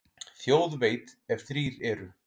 Þjóð veit, ef þrír eru.